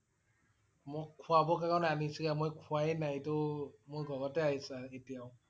মোক খোৱাব কাৰণে আনিছিলে মই খুৱায়ে নাই এইটো মোৰ ঘৰতে আছে এতিয়াও